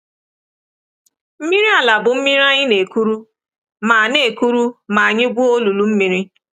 Mmiri ala bụ mmiri anyị na-ekuru ma na-ekuru ma anyị gwuo olulu mmiri.